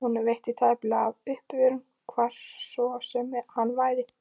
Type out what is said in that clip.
Honum veitti tæplega af uppörvun, hvar svo sem hann var.